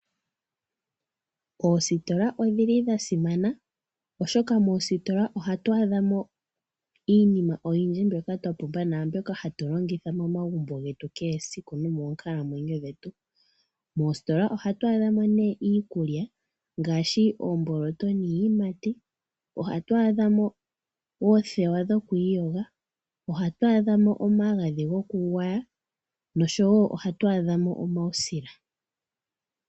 Oositola odhili dhasimana oshoka moositola ohatu adhamo iinima oyindji mbyoka twapumbwa naambyoka hatulongitha momagumbo getu kehesiku nomoonkalamwenyo dhetu. Moositola ohatu adhamo ne iikulya ngaashi, oomboloto niiyimati, ohatu adhamo oothewa dhokwiiyoga, ohatu adhamo omagadhi gokugwaya, nosho wo ohatu adhamo omawusila.